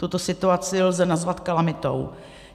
Tuto situaci lze nazvat kalamitou.